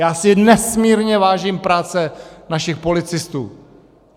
Já si nesmírně vážím práce našich policistů.